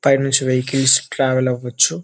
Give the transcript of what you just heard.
పైనుంచి vehicles travel అవ్వవచ్చు.